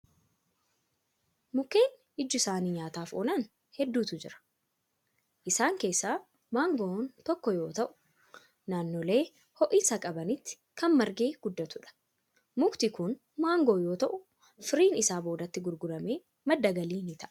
Mukkeen iji isaanii nyaataaf oolan hedduutu jiru. Isaan keessaa maangon tokko yoo ta'u, naannolee ho'iinsa qabanitti kan margee guddatudha. Mukti kun maangoo yoo ta'u, firiin isaa boodatti gurguramee madda galii ta'a.